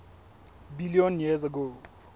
billion years ago